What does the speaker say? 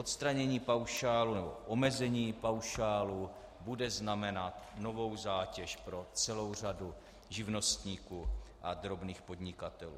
Odstranění paušálu nebo omezení paušálu bude znamenat novou zátěž pro celou řadu živnostníků a drobných podnikatelů.